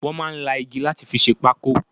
Wọn máa ń la igi láti fi ṣe pákó